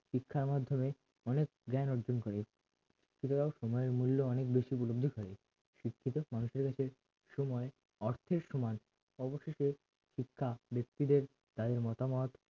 শিক্ষার মাধ্যমে অনেক জ্ঞান অর্জন করে শিক্ষিতরাও সময়ের মূল্য অনেক বেশি উপলব্ধি করে শিক্ষিত মানুষের কাছে সময় অর্থের সমান অবশেষে শিক্ষা ব্যক্তিদের তাদের মতামত